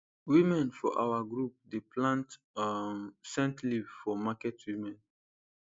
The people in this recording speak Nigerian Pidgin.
women for our group dey plant um scent leave for market women